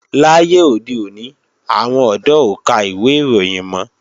Láyé òde òní, àwọn ọ̀dọ́ ò ka ìwé ìròyìn mọ́